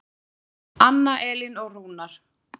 Anna Elín og Rúnar.